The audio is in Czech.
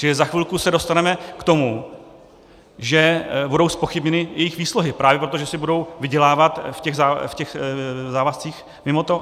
Čili za chvilku se dostaneme k tomu, že budou zpochybněny jejich výsluhy právě proto, že si budou vydělávat v těch závazcích mimo to.